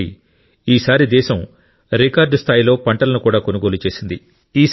కాబట్టి ఈసారి దేశం రికార్డు స్థాయిలో పంటలను కూడా కొనుగోలు చేసింది